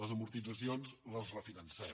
les amortitzacions les refinancem